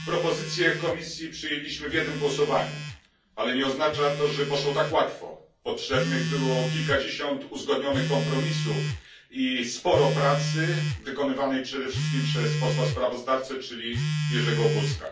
Pani Przewodnicząca! Propozycje Komisji przyjęliśmy w jednym głosowaniu, ale nie oznacza to, że poszło tak łatwo. Potrzebnych było kilkadziesiąt uzgodnionych kompromisów i sporo pracy, wykonanej przede wszystkim przez posła sprawozdawcę Jerzego Buzka.